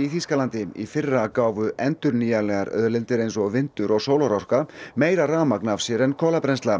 í Þýskalandi í fyrra gáfu endurnýjanlegar auðlindir eins og vindur og sólarorka meira rafmagn af sér en kolabrennsla